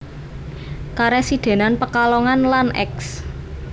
Karesidenan Pekalongan lan Eks